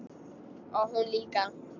Og hún líka.